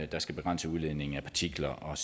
der skal begrænse udledningen af partikler og